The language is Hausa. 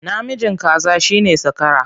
Namijin kaza shi ne zakara.